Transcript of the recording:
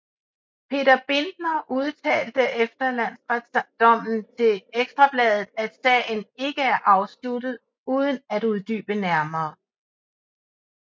Peter Bindner udtalte efter landsretdommen til Ekstra Bladet at sagen ikke er afsluttet uden at uddybe nærmere